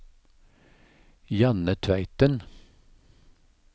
Janne Tveiten